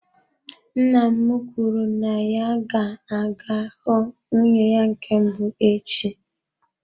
Nna m kwuru na ya ga-aga ịhụ nwunye ya nke mbụ echi.